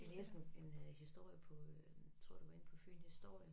Jeg læste en en øh historie på øh tror det var inde på Fynhistorie